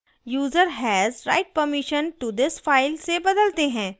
user has write permission to this file से बदलते हैं